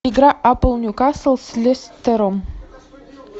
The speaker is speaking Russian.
игра апл ньюкасл с лестером